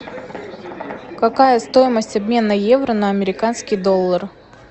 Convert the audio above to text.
какая стоимость обмена евро на американский доллар